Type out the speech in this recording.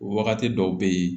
O wagati dɔw bɛ yen